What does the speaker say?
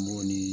Mɔgɔ ni